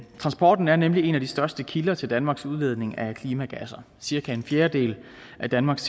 transporten er nemlig en af de største kilder til danmarks udledning af klimagasser cirka en fjerdedel af danmarks